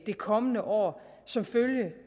det kommende år som følge